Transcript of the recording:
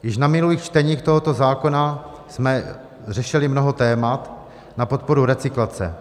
Již na minulých čteních tohoto zákona jsme řešili mnoho témat na podporu recyklace.